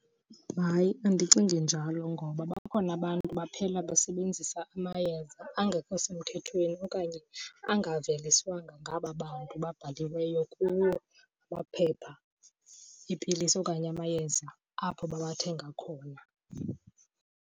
Hayi, andicingi njalo ngoba bakhona abantu baphela basebenzisa amayeza angekho semthethweni okanye angaveliswanga ngaba bantu babhaliweyo kuwo amaphepha, iipilisi okanye amayeza apho bawathenga khona.